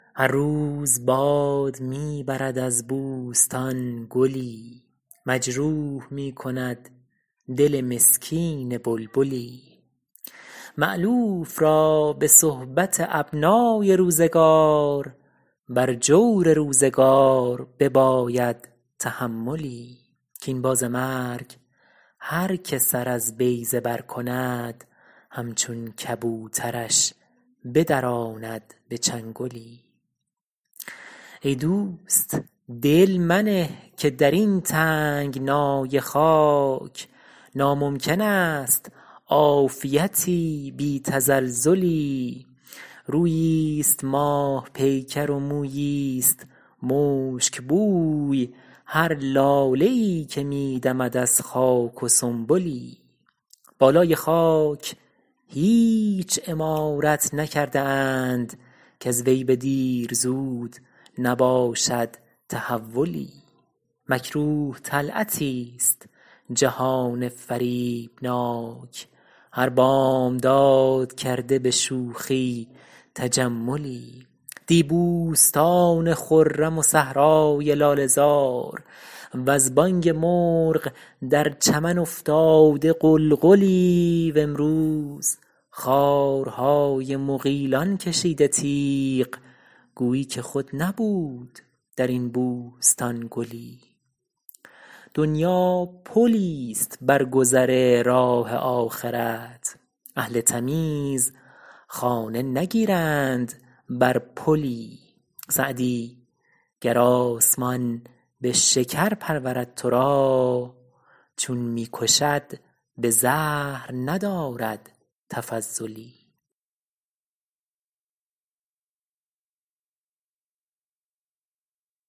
هر روز باد می برد از بوستان گلی مجروح می کند دل مسکین بلبلی مألوف را به صحبت ابنای روزگار بر جور روزگار بباید تحملی کاین باز مرگ هر که سر از بیضه بر کند همچون کبوترش بدراند به چنگلی ای دوست دل منه که در این تنگنای خاک ناممکن است عافیتی بی تزلزلی روییست ماه پیکر و موییست مشکبوی هر لاله ای که می دمد از خاک و سنبلی بالای خاک هیچ عمارت نکرده اند کز وی به دیر زود نباشد تحولی مکروه طلعتیست جهان فریبناک هر بامداد کرده به شوخی تجملی دی بوستان خرم و صحرای لاله زار وز بانگ مرغ در چمن افتاده غلغلی و امروز خارهای مغیلان کشیده تیغ گویی که خود نبود در این بوستان گلی دنیا پلیست بر گذر راه آخرت اهل تمیز خانه نگیرند بر پلی سعدی گر آسمان به شکر پرورد تو را چون می کشد به زهر ندارد تفضلی